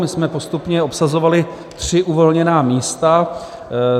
My jsme postupně obsazovali tři uvolněná místa.